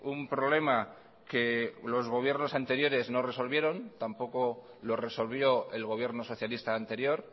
un problema que los gobiernos anteriores no resolvieron tampoco lo resolvió el gobierno socialista anterior